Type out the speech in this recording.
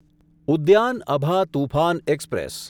Udyan Abha Toofan express